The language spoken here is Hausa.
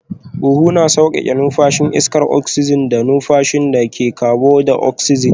Huhu na sauƙaƙe numfashin iskar oksijin da numfashi daga kabon daoksijin